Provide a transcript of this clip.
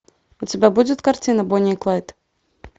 у тебя будет картина бонни и клайд